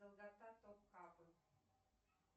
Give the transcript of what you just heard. долгота топкапы